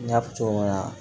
N y'a fɔ cogo min na